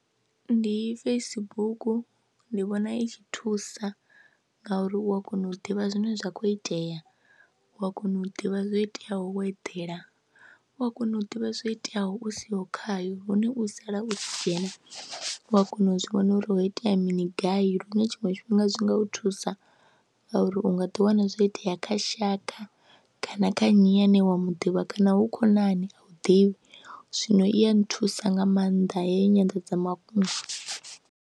Ndi Facebook, ndi vhona i tshi thusa ngauri u a kona u ḓivha zwine zwa khou itea, u a kona u ḓivha zwo iteaho wo edela, u a kona u ḓivha zwo iteaho u siho khayo hune u sala u tshi dzhena u ya kona u zwi vhona uri ho itea mini gai lune tshiṅwe tshifhinga zwi nga u thusa nga uri u nga ḓiwana zwo itea kha shaka kana kha nnyi ane wa mu ḓivha kana hu khonani a u ḓivhi, zwino i ya nthusa nga maanḓa heyi nyanḓadzamafhungo.